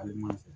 Ali n'i fɛ